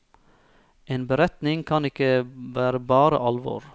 En beretning kan ikke være bare alvor.